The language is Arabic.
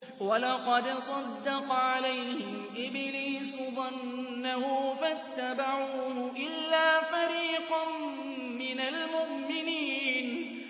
وَلَقَدْ صَدَّقَ عَلَيْهِمْ إِبْلِيسُ ظَنَّهُ فَاتَّبَعُوهُ إِلَّا فَرِيقًا مِّنَ الْمُؤْمِنِينَ